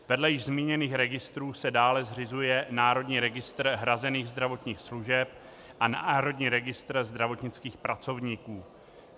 Vedle již zmíněných registrů se dále zřizuje Národní registr hrazených zdravotních služeb a Národní registr zdravotnických pracovníků.